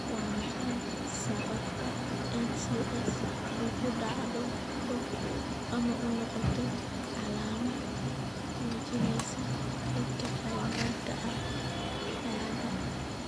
Waa maxay sababta NCS ugu dhacdo ama u noqoto calaamad muujinaysa dadka qaangaarka ah ma cadda.